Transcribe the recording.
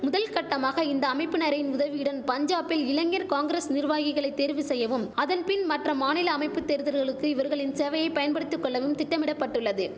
முதல் கட்டமாக இந்த அமைப்பினரின் உதவியுடன் பஞ்சாபில் இளைஞர் காங்கிரஸ் நிர்வாகிகளை தேர்வு செய்யவும் அதன் பின் மற்ற மாநில அமைப்பு தேர்தல்களுக்கு இவர்களின் சேவையை பயன்படுத்தி கொள்ளவும் திட்டமிடபட்டுள்ளது